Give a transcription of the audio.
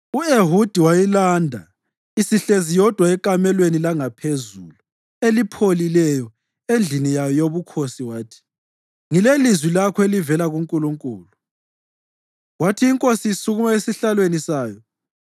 U-Ehudi wayilanda isihlezi yodwa ekamelweni langaphezulu elipholileyo endlini yayo yobukhosi wathi, “Ngilelizwi lakho elivela kuNkulunkulu.” Kwathi inkosi isukuma esihlalweni sayo,